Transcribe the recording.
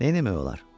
Neynəmək olar?